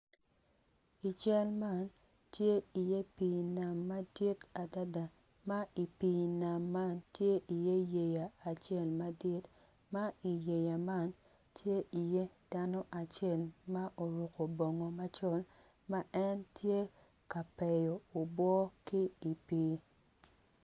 I cal man tye iye pii nam madit adada ma i pii nam man tye iye yeya acel madit ma i yeya man tye iye dano acel ma oruko bongo macol